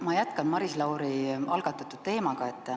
Ma jätkan Maris Lauri algatatud teemat.